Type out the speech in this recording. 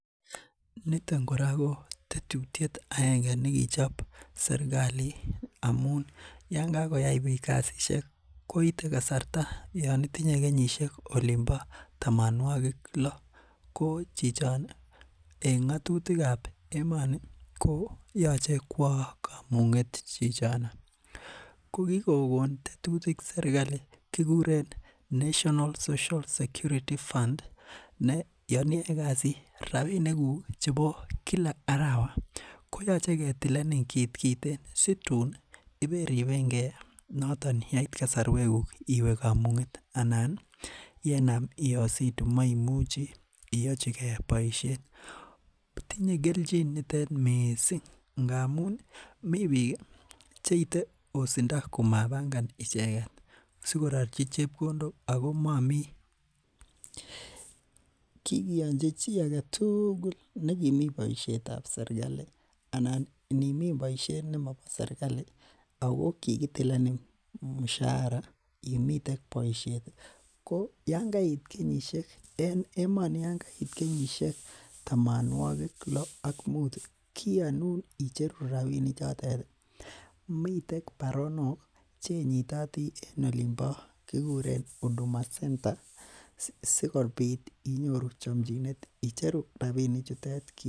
Niton kora ko tetutiet aenge nekichob serkali amuun Yoon kakoyai beek kasisiek koite kasarta Yoon itinye kenyisiek olonbo tamanwokig lo ko chichon en ng'atutikab emoni ko yache kwo kamung'et chichi. Ko kikokon tetutik serkali kole national social security fund ne Yoon iyae kasit ko rabinik kuug chebo Kila arawet ko yache ketileen kitkoten sitin ih I eri enge yoton yaait kasarwekuk iwe kamung'et anan ih iositi maimuchi iachike boisiet. Tinye kelchin nitet missing ngamun ih mi bik ih cheite osindo komabangan icheket siko rarchi chebkondok ako Mami kikianchi chi aketugul negimii boisietab serkali anan inimi boisiet nemobo serkali Ako kikitileni mishara imitek boisiet ko Yoon kayait kenyisiek tamanwokig lo ak muut ih kianun icheru rabinik chotet, miten baronok chenyiti en olimbo huduma center sikobit inyoru chamchinet icheru rabinik chutet